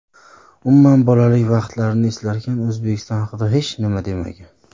Umuman, bolalik vaqtlarini eslarkan O‘zbekiston haqida hech nima demagan.